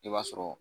I b'a sɔrɔ